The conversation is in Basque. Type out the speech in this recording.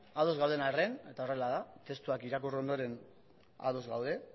ados gauden arren eta horrela da testuak irakurri ondoren ados gaude